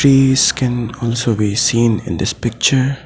Trees can also be seen in this picture.